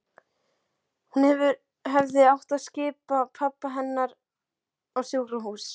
Hún hefði átt að skipa pabba hennar á sjúkrahús.